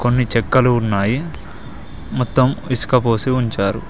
కొన్ని చెక్కలు ఉన్నాయి మొత్తం ఇసుక పోసి ఉంచారు.